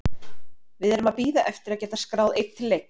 Við erum að bíða eftir að geta skráð einn til leiks.